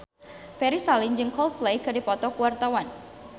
Ferry Salim jeung Coldplay keur dipoto ku wartawan